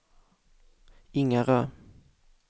Ingarö